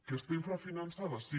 que està infrafinançada sí